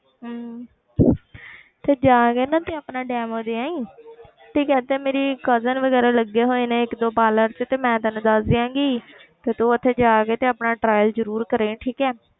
ਹਮ ਤੇ ਜਾ ਕੇ ਨਾ ਤੇ ਆਪਣਾ demo ਦੇ ਆਈਂ ਠੀਕ ਹੈ ਤੇ ਮੇਰੀ cousin ਵਗ਼ੈਰਾ ਲੱਗੇ ਹੋਏ ਨੇ ਇੱਕ ਦੋ parlour 'ਚ ਤੇ ਮੈਂ ਤੈਨੂੰ ਦੱਸ ਦਿਆਂਗੀ ਤੇ ਤੂੰ ਉੱਥੇ ਜਾ ਕੇ ਤੇ ਆਪਣਾ trial ਜ਼ਰੂਰ ਕਰੇ ਆਈ ਠੀਕ ਹੈ।